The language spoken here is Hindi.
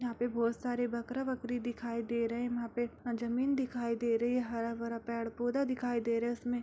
यहां पे बहुत सारे बकरा बकरी दिखाई दे रहे यहां पे जमीन दिखाई दे रही है हरा-भरा पेड़-पौधा दिखाई दे रहा उसमें।